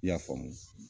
I y'a faamu